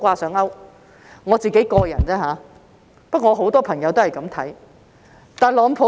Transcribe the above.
這是我的個人想法，但我有很多朋友都抱這種看法。